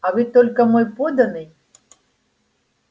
а вы только мой подданный